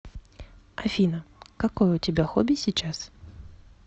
афина какое у тебя хобби сейчас